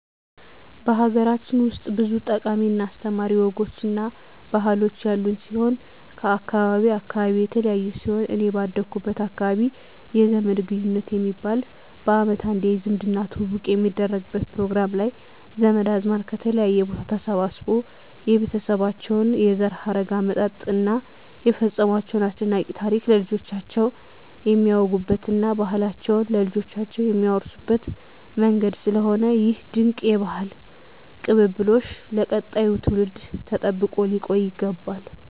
ሀገራችን ውስጥ ብዙ ጠቃሚ እና አስተማሪ ወጎች እና ባህሎች ያሉን ሲሆን ከአካባቢ አካባቢ የተለያዩ ሲሆን እኔ ባደኩበት አካባቢ የዘመድ ግንኙት የሚባል በአመት አንዴ የዝምድና ትውውቅ የሚደረግበት ፕሮግራም ላይ ዘመድ አዝማድ ከተለያየ ቦታ ተሰባስቦ የቤተሰባቸውን የዘር ሀረግ አመጣጥ እና የፈፀሟቸውን አስደናቂ ታሪክ ለልጆቻቸው የሚያወጉበት እና ባህላቸውን ለልጆቻቸው የሚያወርሱበት መንገድ ስለሆነ ይህ ድንቅ የባህል ቅብብሎሽ ለቀጣዩ ትውልድ ተጠብቆ ሊቆይ ይገባል።